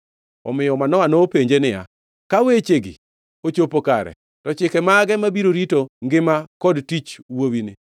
Omiyo Manoa nopenje niya, “Ka wechegi ochopo kare, to chike mage mabiro rito ngima kod tich wuowini?”